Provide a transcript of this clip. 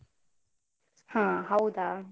ಹ ಹೌದಾ?